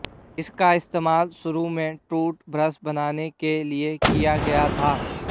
इसका इस्तेमाल शुरू में टूथब्रश बनाने के लिए किया गया था